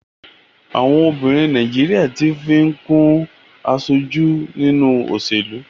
Àwọn obìnrin Nàìjíríà tí ń fi kún aṣojú nínú òṣèlú.